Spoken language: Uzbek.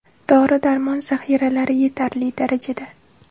Dori darmon zahiralari yetarli darajada.